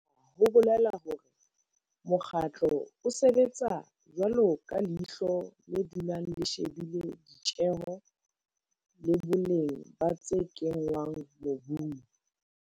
Hona ho bolela hore mokgatlo o sebetsa jwalo ka leihlo le dulang le shebile ditjeho le boleng ba tse kenngwang mobung.